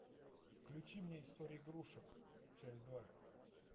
включи мне история игрушек часть два